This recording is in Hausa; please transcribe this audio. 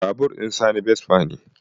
Babur ɗin sani vespa ne